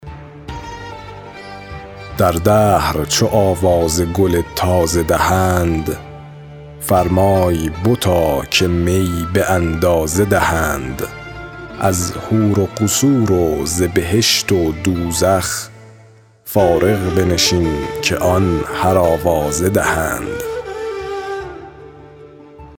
در دهر چو آواز گل تازه دهند فرمای بتا که می به اندازه دهند از حور و قصور و ز بهشت و دوزخ فارغ بنشین که آن هر آوازه دهند